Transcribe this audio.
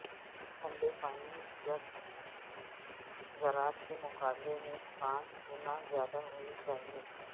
ٹھنڈے پانی زرد ذرات کے مقابلے میں پانچ گنا زیادہ ہونی چاہئے